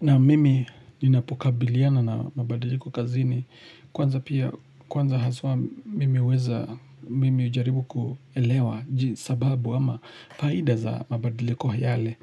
Na mimi ninapokabiliana na mabadiliko kazini kwanza pia kwanza haswa mimi weza mimi ujaribu kuelewa sababu ama faida za mabadiliko yale.